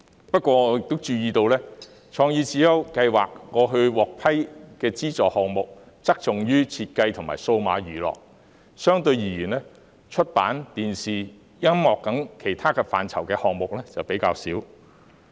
不過，我亦注意到，創意智優計劃過去獲批的資助項目側重於設計和數碼娛樂；相對而言，出版、電視和音樂等其他範疇的項目則比較少。